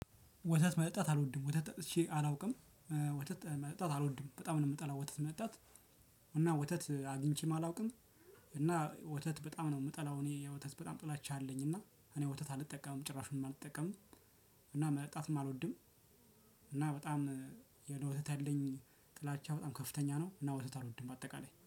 ወተት መጣት አልወድም ወተት ጠጥቼ አላውቅም። ወተት መጠጣት አልወድም በጣም ነው የምጠላው ወተት መጣት። እና ወተት አግኝቼም አላውቅም። እና ወተት በጣም ነው የምጠላው። እኔ ወተት በጣም ጥላቻ አለኝ እና እኔ ወተት አልጠቀምም ጭራሽም አልጠቀምም። እና መጠጣትም አልወድም። እና በጣም ለወተት ያለኝ ጥላቻው በጣም ከፍተኛ ነው። እና ወተት አልወድም በአጠቃላይ